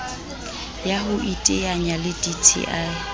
ya ho iteanya le dti